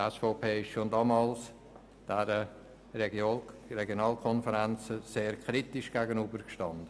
Ich war Sprecher der SVP, die schon damals den Regionalkonferenzen sehr kritisch gegenüberstand.